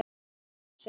Lemja hann í klessu.